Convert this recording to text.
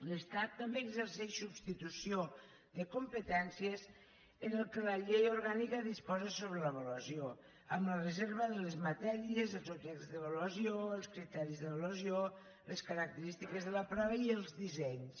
l’estat també exerceix substitució de competències en el que la llei orgànica disposa sobre l’avaluació amb la reserva de les matèries dels objectes d’avaluació els criteris d’avaluació les característiques de la prova i els dissenys